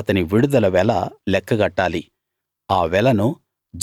అతని విడుదల వెల లెక్కగట్టాలి ఆ వెలను